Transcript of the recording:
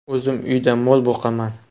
O‘zim uyda mol boqaman.